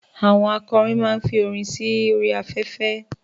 Àwọn akọrin ma ń fi orin sí orí afẹ́fẹ́